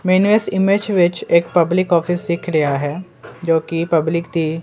ਮੈਂਨੂੰ ਇੱਸ ਇਮੇਜ ਵਿੱਚ ਇੱਕ ਪਬਲਿਕ ਔਫਿਸ ਦਿਖ ਰਿਹਾ ਐ ਜੋ ਕਿ ਪਬਲਿਕ ਦੀ--